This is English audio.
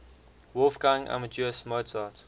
wolfgang amadeus mozart